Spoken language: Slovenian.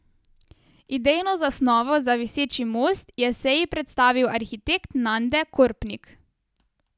Idejno zasnovo za viseči most je seji predstavil arhitekt Nande Korpnik.